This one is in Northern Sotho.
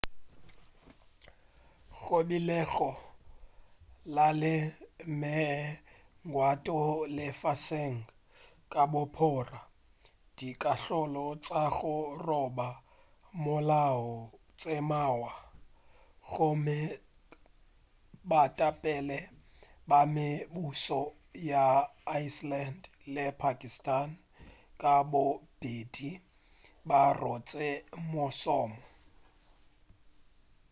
go be go na le megwanto lefaseng ka bophara dikahlolo tša go roba molao tše mmalwa gomme baetapele ba mebušo ya iceland le pakistan ka bobedi ba rotše mošomo